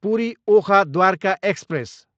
Puri, Okha Dwarka express